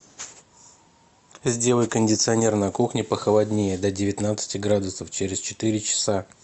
сделай кондиционер на кухне похолоднее до девятнадцати градусов через четыре часа